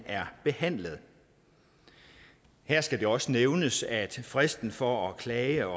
er behandlet her skal det også nævnes at fristen for at klage